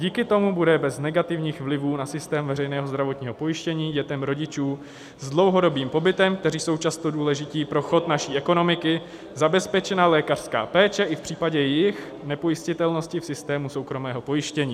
Díky tomu bude bez negativních vlivů na systém veřejného zdravotního pojištění dětem rodičů s dlouhodobým pobytem, kteří jsou často důležití pro chod naší ekonomiky, zabezpečena lékařská péče i v případě jejich nepojistitelnosti v systému soukromého pojištění.